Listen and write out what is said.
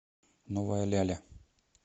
новая ляля